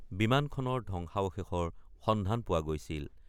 বিমানখনৰ ধ্বংসাৱশেষৰ সন্ধান পোৱা গৈছিল।